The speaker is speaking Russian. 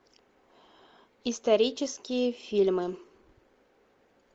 исторические фильмы